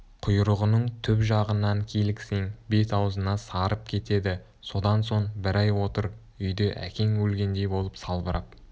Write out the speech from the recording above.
құйрығының түп жағынан киліксең бет-аузыңа сарып кетеді содан соң бір ай отыр үйде әкең өлгендей болып салбырап